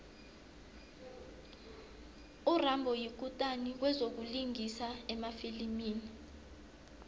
urambo yikutani kwezokulingisa emafilimini